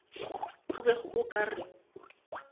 o bego o ka re